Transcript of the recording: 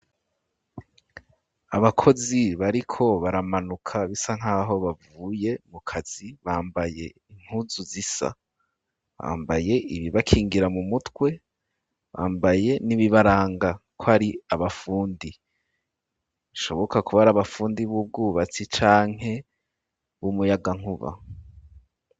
abakozi bariko baramanuka bisa nkaho bavuye mu kazi bambaye impuzu zisa bambaye ibi bakingira mu mutwe bambaye n'ibibaranga kwari aba fundi bishoboka kuba ari abafundi b'ubwubatsi canke b'umuyagankuba